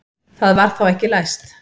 Það var þá ekki læst!